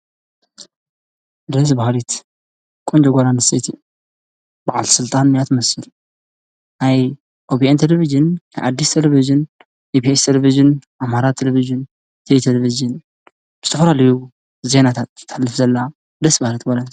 ደስ በሃሊት ቆንጆ ጓል ኣንስተይቲ በዓልቲ ስልጣን እያ ትመስል። ናይ ኦቢአን ቴሌቪዥን ፣ናይ ኣዲስ ቴሌቪዥን ፣ ኢቪኤስ ቴሌቪዥን፣ ኣማራ ቴሌቪዥን ኢትዮ ቴሌቪዥን ዝተፈላለዩ ዜናታት ተሕልፍ ዘላ ደስ በሃሊት ጓል እያ።